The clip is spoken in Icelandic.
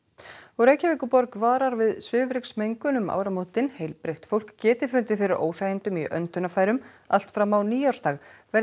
Reykjavíkurborg varar við svifryksmengun um áramótin heilbrigt fólk geti fundið fyrir óþægindum í öndunarfærum allt fram á nýársdag verði